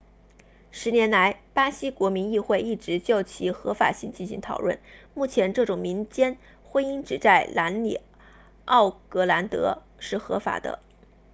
10年来巴西国民议会一直就其合法性进行讨论目前这种民间婚姻只在南里奥格兰德 rio grande do sul 是合法的